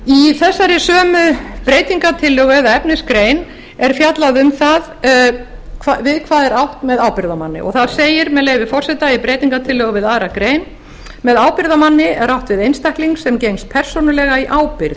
í þessari sömu breytingartillögu er efnisgrein er fjallaði um það við hvað er átt með ábyrgðarmanni og þar segir með leyfi forseta í breytingartillögu við aðra grein með ábyrgðarmanni er átt við einstakling sem gengst persónulega í ábyrgð